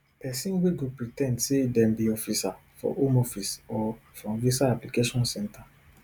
pesin wey go pre ten d say dem be officer for home office or from visa application centre